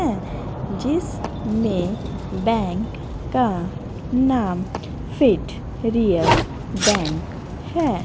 हैं जिसमें बैंक का नाम फिट रियल बैंक है।